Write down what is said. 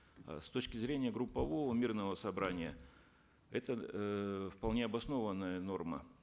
э с точки зрения группового мирного собрания это эээ вполне обоснованная норма